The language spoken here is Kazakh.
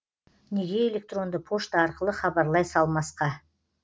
неге электронды пошта арқылы хабарлай салмасқа